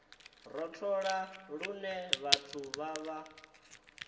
rothola lune vhathu vha vha